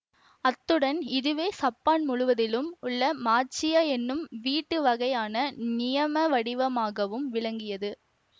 அத்துடன் இதுவே சப்பான் முழுவதிலும் உள்ள மாச்சியா என்னும் வீட்டு வகைக்கான நியம வடிவமாகவும் விளங்கியது